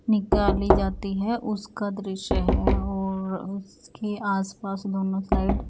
निकाली जाती है उसका दृश्य है और उसके आसपास दोनों साइड --